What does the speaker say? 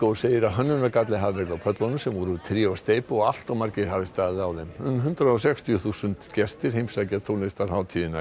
segir að hönnunargalli hafi verið á pöllunum sem voru úr tré og steypu og allt of margir hafi staðið á þeim um hundrað og sextíu þúsund gestir heimsækja tónlistarhátíðina í